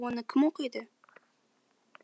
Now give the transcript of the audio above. оны кім оқиды